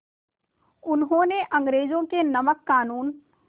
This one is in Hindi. उन्होंने अंग्रेज़ों के नमक क़ानून